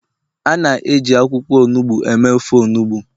a na-eji akwukwo onugbu eme ofe onugbu